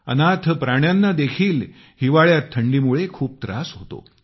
अनाथ प्राण्यांना देखील हिवाळ्यात थंडीमुळे खूप त्रास होतो